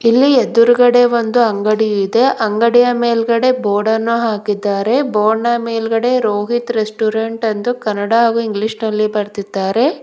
ಇಲ್ಲಿ ಎದ್ರುಗಡೆ ಒಂದು ಅಂಗಡಿ ಇದೆ ಅಂಗಡಿಯ ಮೇಲ್ಗಡೆ ಬೋರ್ಡನ್ನು ಹಾಕಿದ್ದಾರೆ ಬೋರ್ಡ್ ನ ಮೇಲ್ಗಡೆ ರೋಹಿತ್ ರೆಸ್ಟೋರೆಂಟ್ ಅಂತ ಕನ್ನಡ ಹಾಗೂ ಇಂಗ್ಲಿಷ್ ನಲ್ಲಿ ಬರೆದಿದ್ದಾರೆ.